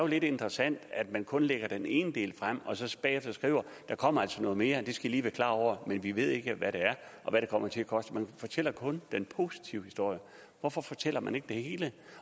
lidt interessant at man kun lægger den ene del frem og så bagefter skriver der kommer altså noget mere og det skal i lige være klar over men vi ved ikke hvad det er og hvad det kommer til at koste man fortæller kun den positive historie hvorfor fortæller man ikke det hele